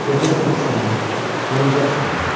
Götürəcəksən ki səni, yonca biçəcəksən.